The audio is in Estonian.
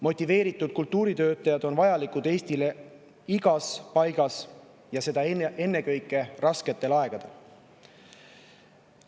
Motiveeritud kultuuritöötajad on Eestile vajalikud igas paigas, seda ennekõike rasketel aegadel.